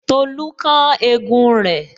Tolu kán egun rẹ